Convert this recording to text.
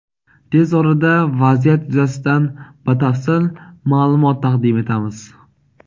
Tez orada vaziyat yuzasidan batafsil ma’lumot taqdim etamiz.